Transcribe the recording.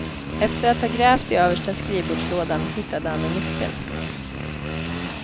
Efter att ha grävt i översta skrivbordslådan hittade han en nyckel.